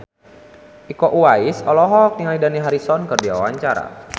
Iko Uwais olohok ningali Dani Harrison keur diwawancara